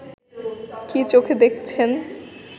কী চোখে দেখছেন